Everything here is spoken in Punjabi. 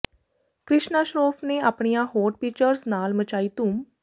ਕ੍ਰਿਸ਼ਨਾ ਸ਼ਰੋਫ਼ ਨੇ ਆਪਣੀਆਂ ਹੋਟ ਪਿਚਰਜ਼ ਨਾਲ ਮਚਾਈ ਧੂਮ